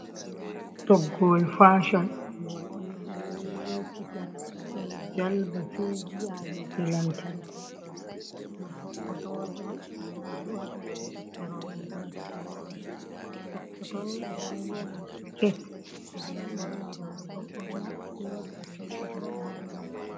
Toggowol fashon gol ɗon delekita ɗon jalba sei vi’ahite lantarki, ɗum sokotore on je ɓe du’ata ɓiɓɓe roɓɓe du’ata sokkotoni ɓe ɗon wi'a ɗum skete ɓe ɗon ɓorna roɓɓe ɗon ɓorna se waɗɗa tishet waɗa ha dou man.